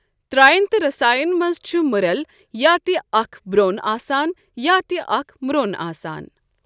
تَراێن تہٕ رساێن مَنٛز چھُ مٕرؠل یا تہٕ اَکھ برٛۆن آسان یا تہٕ اَکھ مرٛۆن آسان۔